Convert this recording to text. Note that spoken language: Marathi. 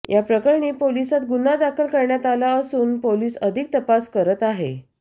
या प्रकरणी पोलिसांत गुन्हा दाखल करण्यात आला असून पोलीस अधिक तपास करत आहे